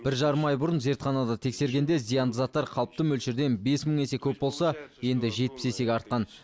бір жарым ай бұрын зертханада тексергенде зиянды заттар қалыпты мөлшерден бес мың есе көп болса енді жетпіс есеге артқан